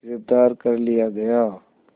गिरफ़्तार कर लिया गया